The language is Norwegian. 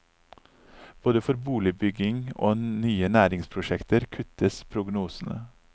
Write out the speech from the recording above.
Både for boligbygging og nye næringsprosjekter kuttes prognosene.